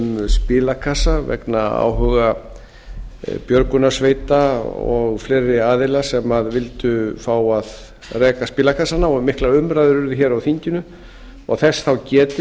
spilakassa vegna áhuga björgunarsveita og fleiri aðila sem vildu fá að reka spilakassana og miklar umræður urðu hér á þinginu og þess þá getið